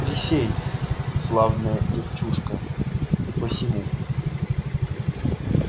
присей славная девчушка и посему